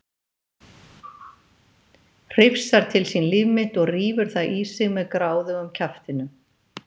Hrifsar til sín líf mitt og rífur það í sig með gráðugum kjaftinum.